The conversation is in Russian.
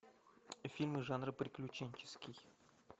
фильмы жанра приключенческий